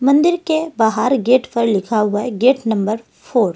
मंदिर के बाहर गेट पर लिखा हुआ है गेट नंबर फोर --